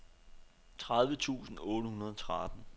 tredive tusind otte hundrede og tretten